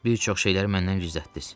Bir çox şeyləri məndən gizlətdiniz.